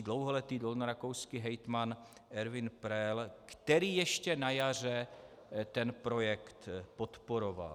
dlouholetý dolnorakouský hejtman Ervin Pröll, který ještě na jaře ten projekt podporoval.